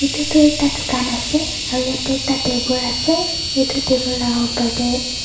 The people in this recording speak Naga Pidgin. edu tu ekta dukan ase aro yatae ekta table ase edu table la opor tae.